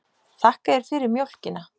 Þakka þér fyrir mjólkina.